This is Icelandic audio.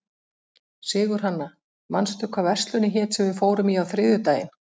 Sigurhanna, manstu hvað verslunin hét sem við fórum í á þriðjudaginn?